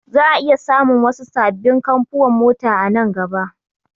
Za'a iya samun wasu sabbin kamfuwan mota a nan gaba